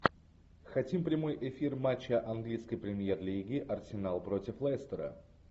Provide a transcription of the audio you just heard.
хотим прямой эфир матча английской премьер лиги арсенал против лестера